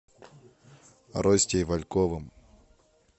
ростей вальковым